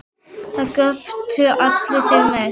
Það göptu allir, þeir mest.